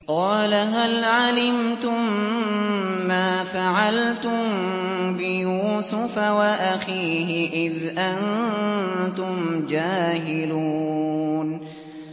قَالَ هَلْ عَلِمْتُم مَّا فَعَلْتُم بِيُوسُفَ وَأَخِيهِ إِذْ أَنتُمْ جَاهِلُونَ